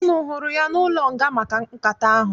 Unu hụrụ ya n'ụlọnga maka nkata ahụ?